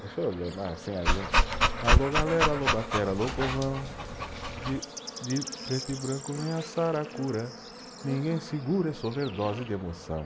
Deixa eu ler alô galera, alô batera, alô povão, de, de preto e branco vem a saracura, ninguém segura essa overdose de emoção.